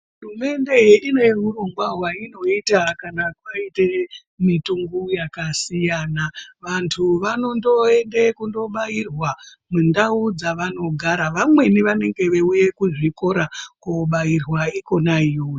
Hurumende ineurongwa hwaionoita kana paita mitombo yakasiya vantu vanondoende kobairwa mundau dzvanogara vamweni vanenge vei uye kuzvikora kundobhairwa kobairwa ikona ikweyo.